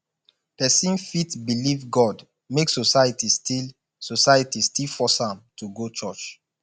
pesin fit belief god make society still society still force am to go church